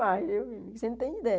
viu você não tem ideia.